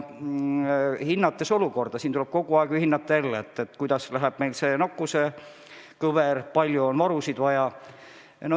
Hinnates olukorda, tuleb ju kogu aeg jälgida, kuidas kulgeb nakkuskõver, kui palju on varusid vaja.